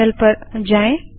terminal पर जाएँ